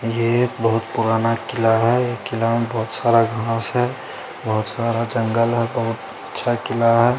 ये एक बहुत पुराना किला है किला में बहुत सारा घास है बहुत सारा जंगल है बहुत अच्छा किला है।